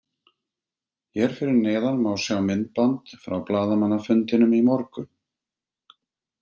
Hér að neðan má sjá myndband frá blaðamannafundinum í morgun.